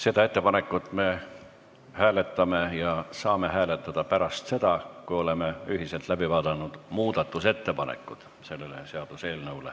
Seda ettepanekut me hääletame, aga saame hääletada pärast seda, kui oleme ühiselt läbi vaadanud seaduseelnõu muudatusettepanekud.